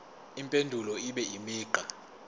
impendulo ibe imigqa